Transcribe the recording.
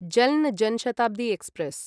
जल्न जन् शताब्दी एक्स्प्रेस्